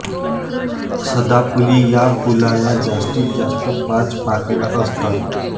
सदाफुली या फुलाला जास्तीत जास्त पाच पाकळ्या असतात